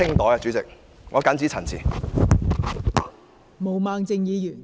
代理主席，我謹此陳辭。